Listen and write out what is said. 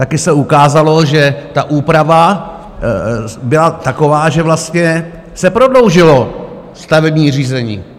Také se ukázalo, že ta úprava byla taková, že vlastně se prodloužilo stavební řízení.